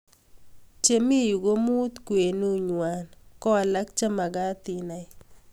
Chemii yuu ko muut kwenun ngwang ko alak chemagat inai